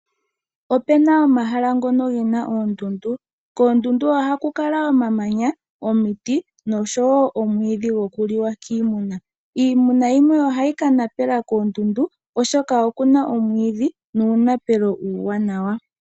Opena omahala ngono gena oondundu, koondundu oha ku kala omamanya, omiti osho woo oomwiidhi goku liwa kiimuna. Iimuna yimwe oha yi ka napela koondundu oshoka oku na omwiidhi nuunapelo uuwanawa.